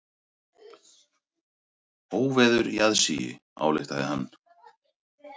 Óveður í aðsigi, ályktaði hann.